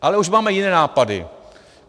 Ale už máme jiné nápady!